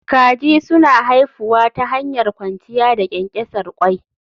Kaji suna haifuwa ta hanyar kwanciya da ƙyanƙyasar ƙwai